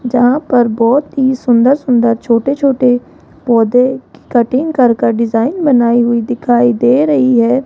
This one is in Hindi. जहां पर बहोत ही सुंदर सुंदर छोटे छोटे पौधे की कटिंग कर कर डिजाइन बनाई हुई दिखाई दे रही है।